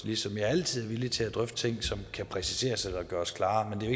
ligesom jeg altid er villig til at drøfte ting som kan præciseres eller gøres klarere